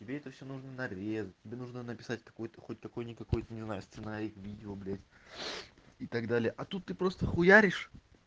тебе это всё нужно нарезать тебе нужно написать какое-то хоть какой никакой не знаю сценарий к видео блять и так далее а тут ты просто хуяришь